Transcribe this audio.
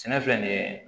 Sɛnɛ filɛ nin ye